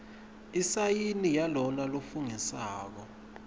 isayini yalona lofungisako